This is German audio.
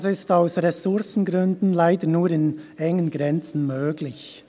Das ist] aus Ressourcengründen [leider] nur in engen Grenzen möglich.